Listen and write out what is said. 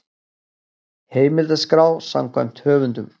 Heimildaskrá samkvæmt höfundum.